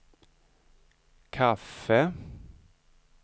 kaffe